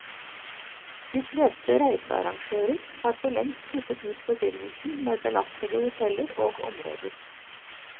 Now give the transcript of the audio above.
De fleste reisearrangører har for lengst kuttet ut forbindelsen med belastede hoteller og områder.